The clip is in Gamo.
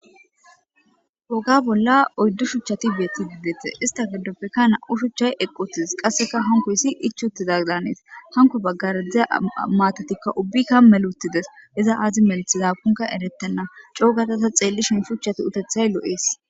woga bolla oyddu shuchchati beeti gidete ista giddoppeka na7u shuchchay equttides qasseka hankoyssi ich utizag daaneeta hanko baggardziza maatotikka ubbika melutides iza aazi melthizakunka eretenna coogataza xeelli shin shuchchati utethay lo7ees